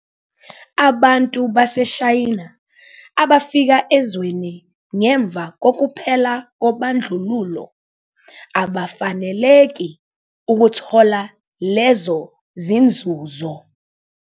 Abantu baseShayina abafika ezweni ngemva kokuphela kobandlululo abafaneleki ukuthola lezo zinzuzo.